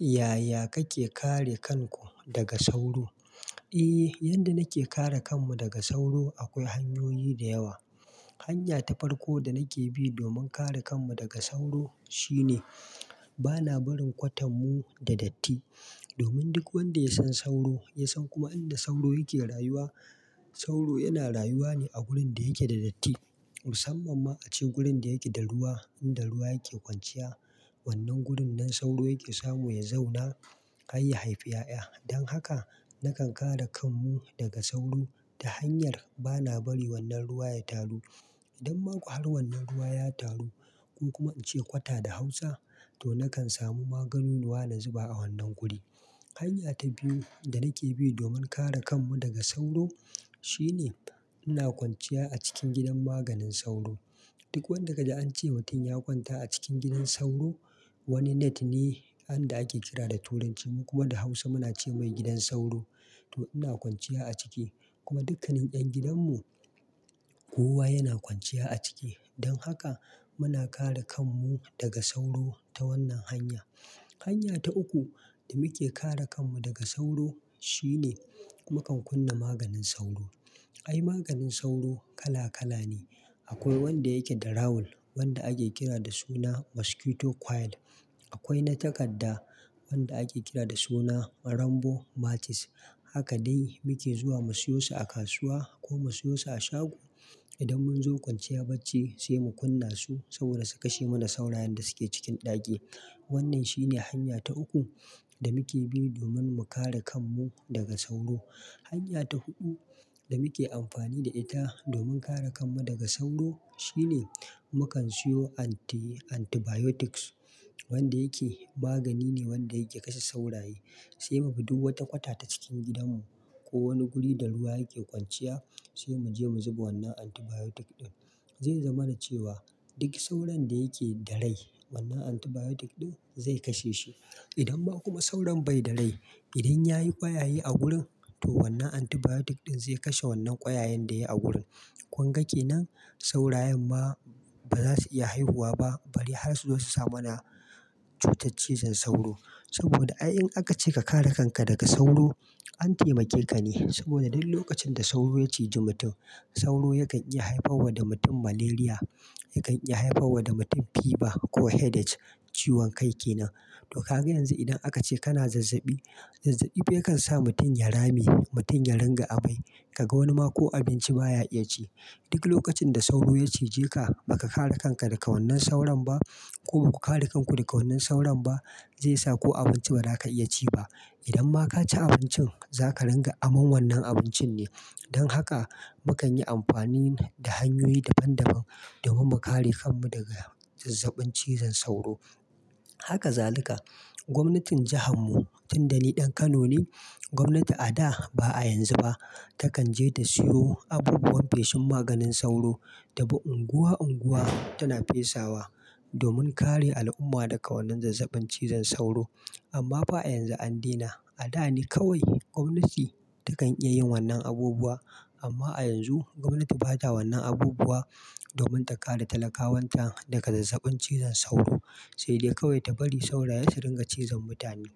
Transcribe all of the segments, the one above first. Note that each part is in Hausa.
Yaya kake kare kanku daga sauro? Eh, yadda nake kare kanmu daga sauro akwai hanyoyi da yawa. Hanya ta farko da nake bi don kare kanmu daga sauro shine bana barin kwatam mu da datti. Domin duk wanda ya san sauro, ya san kuma inda sauro yake rayuwa. Sauro yana rayuwa ne a gurin da yake da datti, musamman ma a cikin gurin da yake da ruwa, inda ruwa yake kwanciya. Wannan gurin nan sauro yake samu ya zauna, har ya haifi 'ya'ya. Dan haka nakan kare kanmu daga sauro ta hanyar bana bari wannan ruwa ya taru. Idan ma ko har wannan ruwa ya taru, ko kuma ince kwata da hausa, to nakan samu maganunuwa na zuba a wannan guri. Hanya ta biyu da nake bi don kare kanmu daga sauro shine ina kwanciya a cikin gidan maganin sauro. Duk wanda ka ji an ce mutum ya kwanta a cikin gidan sauro, wani net ne, anda ake kira da turanci mu kuma da hausa muna ce mai gidan sauro, to ina kwanciya a ciki. Kuma dukkanin ƴan gidanmu, kowa yana kwanciya a ciki. Dan haka muna kare kanmu daga sauro ta wannan hanya. Hanya ta uku da muke kare kanmu daga sauro shine mukan kunna maganin sauro. Ai maganin sauro kala kala ne. Akwai wanda yake da rawul, wanda ake kira da suna "Mosquito Coil". Akwai na takadda wanda ake kira da suna "rambo Matis". Haka dai muke zuwa mu siyo su a kasuwa ko mu siyo su a shago. Idan mun zo kwanciya bacci sai mu kunna su saboda su kashe mana saurayen da suke cikin ɗaki. Wannan shi ne hanya ta uku da muke bi domin mu kare kanmu daga sauro. Hanya ta huɗu da muke amfani da ita domin kare kanmu daga sauro shine mukan siyo anti- antibiotics. Wanda yake magani ne wanda yake kashe sauraye. Sai mu bi duk wata kwata ta cikin gidanmu ko wani guri da ruwa yake kwanciya sai mu je mu zuba wannan antibiotic ɗin. Zai zama na cewa duk sauron da yake da rai wannan antibiotic ɗin zai kashe shi. Idan ma kuma sauron bai da rai, idan yayi ƙwayaye a gurin to wannan antibiotic ɗin zai kashe wannan ƙwayayen da yayi a gurin. Kunga ke nan saurayen ma ba za su iya haihuwa ba bari har su zo su sa ma na cutar cizon sauro. Saboda ai in aka ce ka kare kanka daga sauro an taimake ka ne. Saboda duk lokacin da sauro ya ciji mutum, sauro yakan iya haifarwa da mutum malaria, yakan iya haifarwa da mutum fever ko headache, ciwon kai kenan. To ka ga yanzu idan aka ce kana zazzaɓi, zazzaɓi fa yakan sa mutum ya rame, mutum ya ringa amai, ka ga wani ma ko abinci baya iya ci. Duk lokacin da sauro ya cije ka, ba ka kare kanka daga wannan sauron ba ko ku kare kanku daga wannan sauron ba, zai sa ko abinci ba za ka iya ci ba. Idan ma ka ci abincin za ka ranga aman wannan abincin ne. Dan haka mukan yi amfani da hanyoyi daban daban domin mu kare kanmu daga zazzaɓin cizon sauro. Haka zalika gwamnatin jihar mu tun da ni ɗan Kano ne, gwamnati a da ba a yanzu ba takan je ta siyo abubuwan feshin maganin sauro ta bi unguwa unguwa tana fesawa domin kare al'umma daga wannan zazzaɓin cizon sauro. Amma ba a yanzu an dena. A da ne kawai gwamnati takan iya yin wannan abubuwa amma a yanzu gwamnati ba ta wannan abubuwa domin ta kare talakawan ta daga zazzaɓin cizon sauro, sai dai kawai ta bari sauraye su ringa cizon mutane.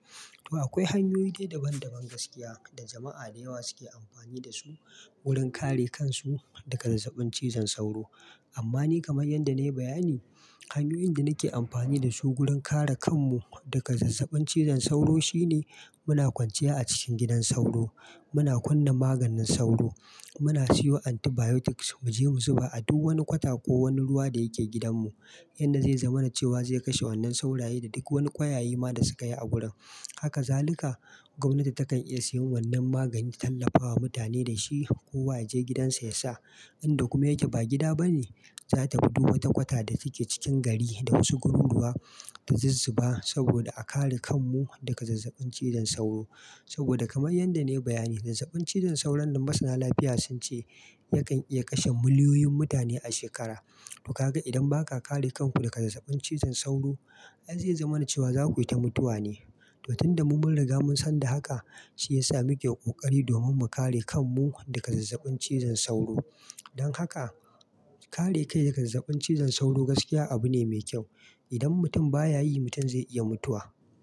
To akwai hanyoyi dai daban daban gaskiya da jama'a da yawa suke amfani da su wurin kare kansu daga zazzaɓin cizon sauro. Amma ni kama yadda na yi bayani, hanyoyin da nake amfani da su wurin kare kanmu daga zazzaɓin cizon sauro shine muna kwanciya a cikin gidan sauro, muna kunna maganin sauro, muna siyo antibiotics mu je mu zuba a duk wani kwata ko wani ruwa da yake gidanmu. Yanda zai zama na cewa zai kashe wannan sauraye da duk wani ƙwayaye ma da suka yi a gurin. Haka zalika gwamnati takan iya siyan wannan magani ta tallafa wa mutane da shi kowa ya je gidansa ya sa. Inda kuma yake ba gida ba ne, za ta bi duk wata kwata da take cikin gari da wasu gururuwa ta zazzuba saboda a kare kanmu daga zazzaɓin cizon sauro. Saboda kaman yadda na yi bayani zazzaɓin cizon sauro ma sana lafiya sun ce yakan iya kashe miliyoyin mutane a shekara. To ka ga idan ba ka kare kanku daga zazzaɓin cizon sauro, ai zai zama na cewa za ku yi ta mutuwa ne. To tun da mu mun riga mun san da haka shi ya sa muke ƙoƙari domin mu kare kanmu daga zazzaɓin cizon sauro. Dan haka kare kai daga zazzaɓin cizon sauro gaskiya abu ne mai kyau. Idan mutum baya yi mutum zai iya mutuwa.